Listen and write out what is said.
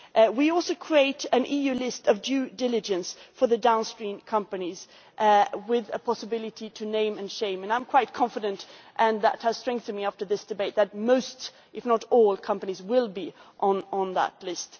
We also create an EU list of due diligence for the downstream companies with a possibility to name and shame, and I am quite confident and this has strengthened in me after this debate that most, if not all, companies will be on that list.